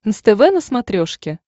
нств на смотрешке